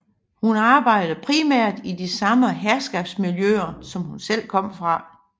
Hun arbejdede primært i de samme herskabsmiljøer som hun selv kom fra